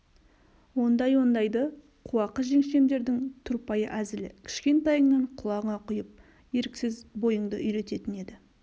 ондай-ондайды қуақы жеңешемдердің тұрпайы әзілі кішкентайыңнаң құлағыңа құйып еріксіз бойыңды үйрететін еді